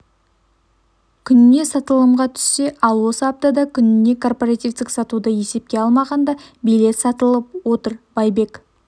күніне сатылымға түссе ал осы аптада күніне корпоративтік сатуды есепке алмағанда билет сатылып отыр байбек